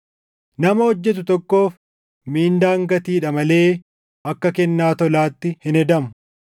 Nama hojjetu tokkoof Mindaan gatiidha malee akka kennaa tolaatti hin hedamu.